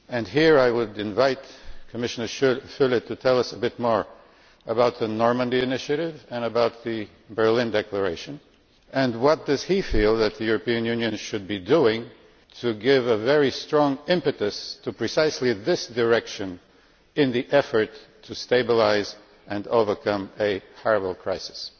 Here I would invite Commissioner Füle to tell us a bit more about the Normandy initiative and about the Berlin declaration and what he feels that the European Union should be doing to give a very strong impetus to precisely this direction in the effort to stabilise and overcome a terrible crisis.